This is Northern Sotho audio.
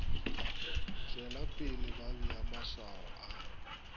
tšwelapele ba bea maswao a